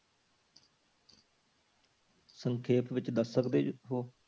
ਸੰਖੇਪ ਵਿੱਚ ਦੱਸ ਸਕਦੇ ਜੀ ਹੋ।